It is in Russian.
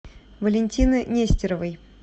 валентины нестеровой